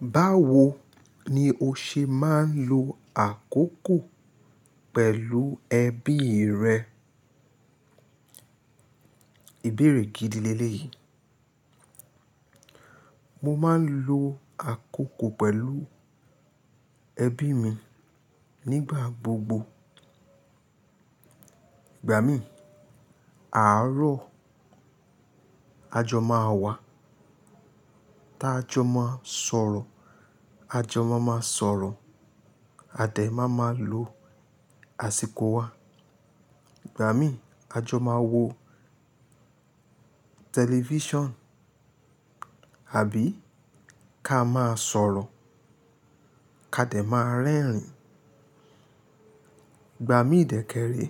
Báwo ni o ṣe máa ń lo àkókò pẹ̀lú ẹbí rẹ? Ìbéèrè gidi léle yii Mo máa ń lo àkókò pẹ̀lú ẹbí mi nígbà gbogbo. Ìgbà mí, àárọ̀, àjọ máa wà. Tí àjọ máa sọ̀rọ̀, àjọ máa máa sọ̀rọ̀. A de máa ma lo àsìkò wa. Ìgbà mí, àjọ máa wo tẹlifíṣàn àbí ká máa sọ̀rọ̀, ká dẹ̀ máa rẹ́rìn-ín. Ìgbà mí dé kèèrè,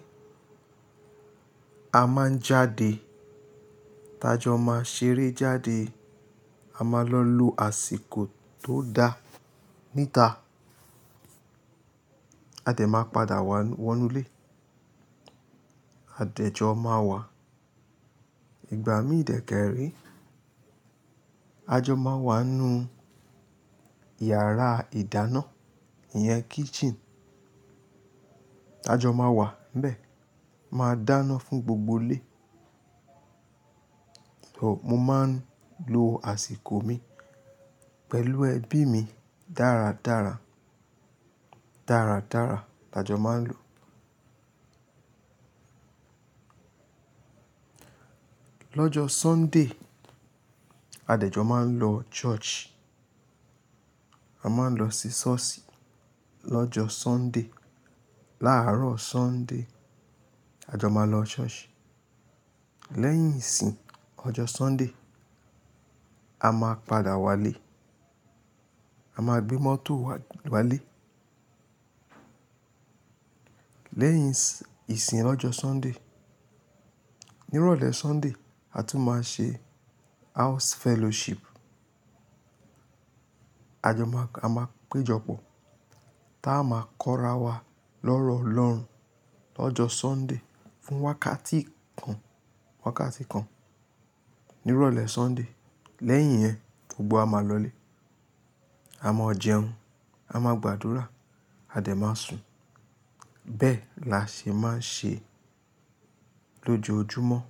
a máa ń jáde. Tí àjọ máa ṣeré jáde, a máa lọ lo àsìkò tó da níta. A de máa padà wọ inú ilé. A dèjọ máa wà. Ìgbà mí ìdékèèrè, àjọ máa wà nínú iyàrá ìdáná, ìyẹn kitchen. Àjọ máa wà ńbẹ, máa dáná fún gbogbo ilé. So, mo máa ń lo àsìkò mi pẹ̀lú ẹbí mi dára dára. Dáradára la jọ máa ń lò. Lọ́jọ́ Sunday, adèjọ máa ń lọ church. A máa ń lọ sí ṣọ́ọ̀ṣì lọ́jọ́ Sunday. Láàárọ̀ Sunday, àjọ máa lọ church. Lẹ́yìn ìsìn ọjọ́ Sunday, a máa padà wá lé. A máa gbé mọ́tò wá wá lé. Lẹ́yìn ìsìn ọ́jọ́ Sunday, ní ìrọ̀lẹ́ Sunday, a tún máa ṣe house fellowship. Àjọ máa, a máa péjọpọ̀. Táa máa kọ́ ra wa lọ́rọ̀ Ọlọ́run lọ́jọ́ Sunday fún wákàtí kan, wákàtí kan ní ìrọ̀lẹ́ Sunday. Lẹ́yìn yẹn, gbogbo a máa lọ lé. A máa jẹun, a máa gbàdúrà, a de máa sùn. Bẹ́ẹ̀ la ṣe máa ń ṣe lójoojúmọ́.